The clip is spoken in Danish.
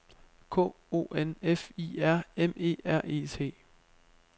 K O N F I R M E R E T